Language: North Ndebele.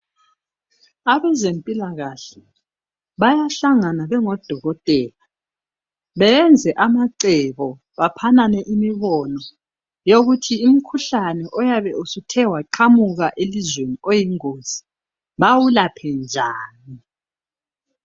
Abezempilakahle bayahlangana bengodokotela beyenze amacebo, baphanane imibono eyokuthi umkhuhlane oyabe usuthe waqhamuka elizweni oyingozi, bawulaphe njani.